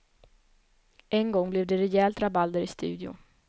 En gång blev det rejält rabalder i studion.